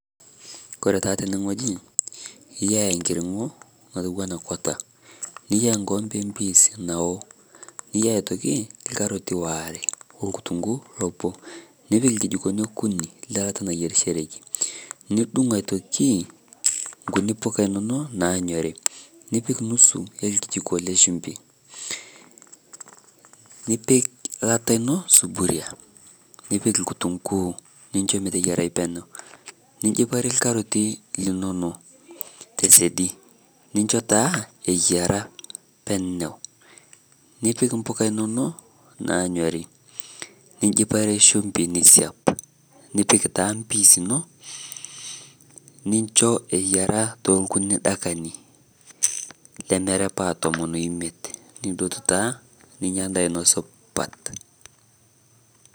Kore taa tene ng'oji eyaa enkiring'o otua ana kwaata, niyaa nkombee e mpiis naoo, niyaa aitokii lkaarotii oare onkutunguu loboo. Nipiik lkijikoni okunii le laata naiyerishoreki. Niduung' aitokii nkuuni mbukaai enono naanyorii, nipiik nusuu elkijikoo le shumbii. Nipiik laata eno suburia nipiik lkitunguu ninchoo meeteyarai peenyau. Nijipaari karotii linono te siadii ninchoo taa eyaara peenyau. Nipiik mbukai enono naanyori ninjiipaare shumbui niiisiap. Nipiik taa mpiis enoo ninchoo eyaara te nkunyii daakani lemerapaa tomoon oimiet. Nidotuu taa ninya ndaa eno supaat.